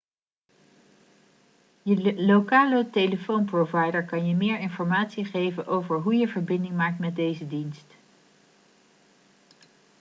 je lokale telefoonprovider kan je meer informatie geven over hoe je verbinding maakt met deze dienst